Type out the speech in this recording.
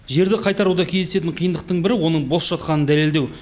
жерді қайтаруда кездесетін қиындықтың бірі оның бос жатқанын дәлелдеу